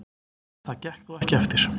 Það gekk þó ekki eftir.